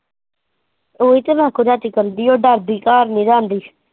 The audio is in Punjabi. ਉਹੀ ਤਾਂ ਮੇਰੇ ਕੋਲ ਰਾਤੀ ਕੰਬਦੀ ਹੈ ਉਹ ਡਰਦੀ ਘਰ ਨਹੀਂ ਜਾਂਦੀ।